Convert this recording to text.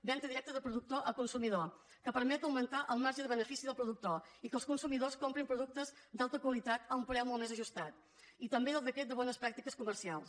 venda directa de productor a consumidor que permet augmentar el marge de benefici del productor i que els consumidors comprin productes d’alta qualitat a un preu molt més ajustat i també el decret de bones pràctiques comercials